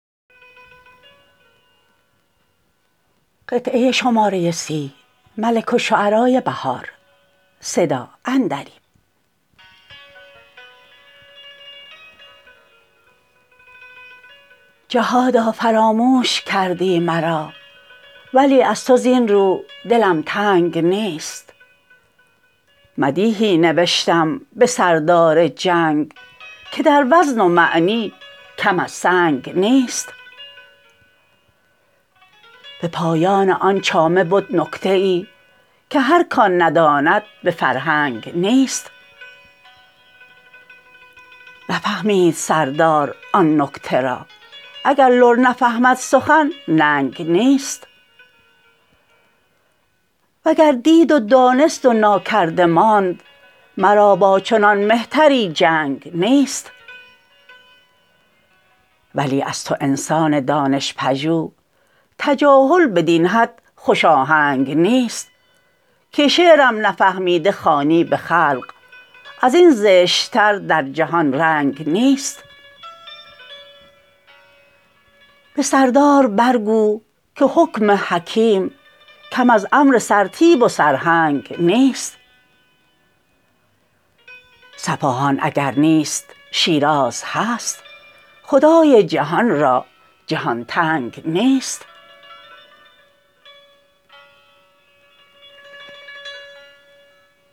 جهادا فراموش کردی مرا ولی از تو زین رو دلم تنگ نیست مدیحی نوشتم به سردار جنگ که در وزن و معنی کم از سنگ نیست به پایان آن چامه بد نکته ای که هر کان نداند به فرهنگ نیست نفهمید سردار آن نکته را اگر لر نفهمد سخن ننگ نیست وگر دید و دانست و ناکرده ماند مرا با چنان مهتری جنگ نیست ولی از تو انسان دانش پژوه تجاهل بدین حد خوش آهنگ نیست که شعرم نفهمیده خوانی به خلق ازین زشت تر در جهان رنگ نیست به سردار برگو که حکم حکیم کم از امر سرتیپ و سرهنگ نیست صفاهان اگر نیست شیراز هست خدا جهان را جهان تنگ نیست